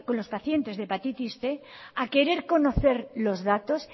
los pacientes de hepatitis cien a querer conocer los datos